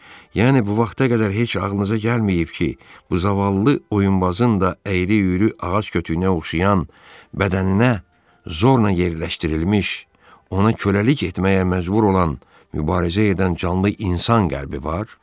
Yəni bu vaxta qədər heç ağlınıza gəlməyib ki, bu zavallı oyunbazın da əyri-üyrü ağac kötüyünə oxşayan bədəninə zorla yerləşdirilmiş, ona köləlik etməyə məcbur olan, mübarizə edən canlı insan qəlbi var?